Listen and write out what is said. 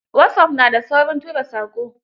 Wasop, na da saurin tura saƙo